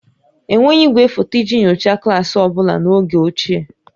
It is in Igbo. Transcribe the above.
Enweghị igwefoto iji nyochaa klaasị ọ bụla n'oge ochie